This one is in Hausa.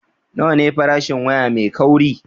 Nawa ne farashin waya mai kauri?